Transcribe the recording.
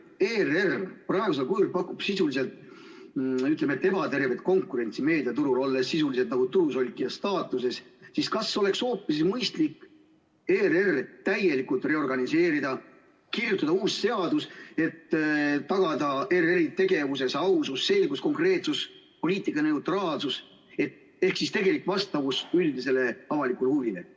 Kuna ERR praegusel kujul pakub meediaturul sisuliselt ebatervet konkurentsi, olles nagu turu solkija staatuses, siis kas poleks hoopis mõistlikum ERR täielikult reorganiseerida ja kirjutada uus seadus, et tagada ERR-i tegevuse ausus, selgus, konkreetsus ja poliitika neutraalsus ehk tegelik vastavus üldisele avalikule huvile?